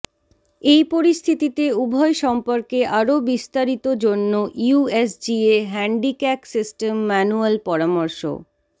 এই পরিস্থিতিতে উভয় সম্পর্কে আরও বিস্তারিত জন্য ইউএসজিএ হ্যান্ডিক্যাক সিস্টেম ম্যানুয়াল পরামর্শ